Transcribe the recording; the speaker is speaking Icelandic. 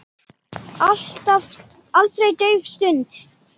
Aldrei dauf stund.